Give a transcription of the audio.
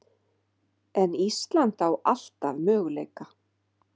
En Ísland á alltaf möguleika